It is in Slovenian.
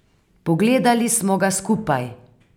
Pogledali smo ga skupaj.